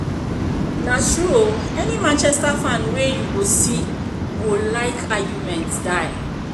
na true o, any Manchester fan wey you go see go like argument die